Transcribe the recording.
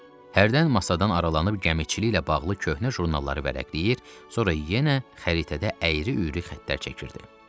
Hərdən masadan aralanıb gəmiçiliklə bağlı köhnə jurnalları vərəqləyir, sonra yenə xəritədə əyri-üyrü xəttlər çəkirdi.